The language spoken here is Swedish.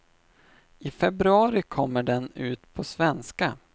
I februari kommer den ut på svenska.